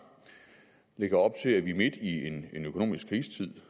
lægger op til at vi midt i en økonomisk krisetid